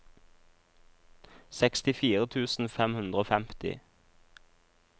sekstifire tusen fem hundre og femti